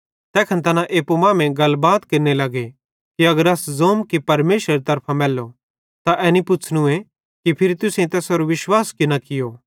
तैखन तैना एप्पू मांमेइं गलबात केरने लग्गे कि अगर अस ज़ोम कि परमेशरेरी तरफां मैल्लो त एनी पुछ़नूए कि फिरी तुसेईं तैसेरो विश्वास की न कियो